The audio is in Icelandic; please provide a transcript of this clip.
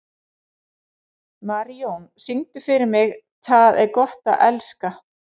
Marijón, syngdu fyrir mig „Tað er gott at elska“.